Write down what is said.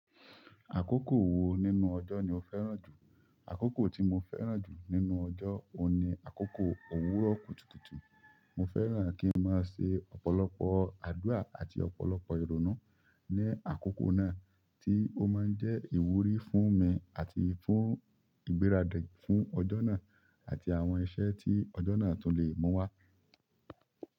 Akoko wo nínú ojo lo fẹ́ràn ju? Àkókò tí mo fẹ́ràn jù nínú ọjọ́ o ni àkókò òwúrọ̀ kùtùkùtù. Mo fẹ́ràn kí n máa ṣe ọ̀pọ̀lọpọ̀ àdúrà àti ọ̀pọ̀lọpọ̀ ìrònú ní àkókò náà tí ó máa ń jẹ́ ìwúrí fún mi àti fún ìgbáradì fún ọjọ́ náà àti àwọn iṣẹ́ tí ọjọ́ náà tún le mú wá.